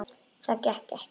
Það gekk ekki